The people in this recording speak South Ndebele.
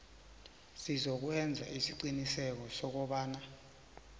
sizokwenza isiqiniseko sokobana